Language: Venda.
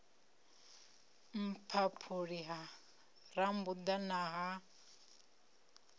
mphaphuli ha rambuḓa na ha